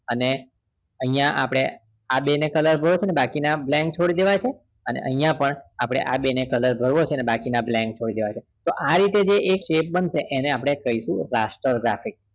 અને અહિયાં આપણે આ બે ને color કરવા છે અને બાકીના blank છોડી દેવા છે અને અહિયાં પણ આપણે આ બે ને color કરવા છે અને બાકી blank છોડી દેવા છે તો આ રીતે જે એક shape બનશે તેને આપણે કહીશું rastergrafics